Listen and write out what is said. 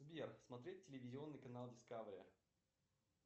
сбер смотреть телевизионный канал дискавери